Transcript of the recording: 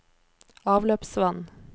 avløpsvann